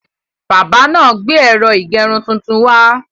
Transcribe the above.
Bábà náà gbé ẹ̀rọ ìgẹrun tuntun wá.